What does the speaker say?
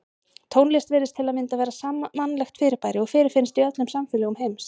Tónlist virðist til að mynda vera sammannlegt fyrirbæri og fyrirfinnst í öllum samfélögum heims.